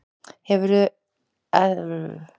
Heldur eldra er sambandið að eitthvað sé bessaleyfi.